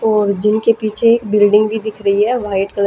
और जिम के पीछे एक बिल्डिंग भी दिख रही है वाइट कलर --